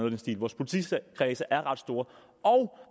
i den stil vores politikredse er ret store og